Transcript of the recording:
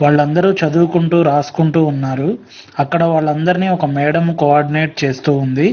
వాళ్ళందరూ చదువుకొంటూరాసుకుంటూ ఉన్నారు. అక్కడ వాళ్ళందర్నీ ఒక మేడం కో-ఆర్డినేట్ చేస్తూ ఉంది.